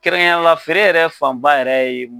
Kerɛnyla feere yɛrɛ fanba yɛrɛ ye.